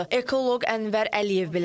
Ekoloq Ənvər Əliyev belə deyir.